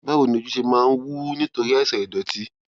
báwo ni ojú ṣe máa ń wú nítorí àìsàn ìdòtí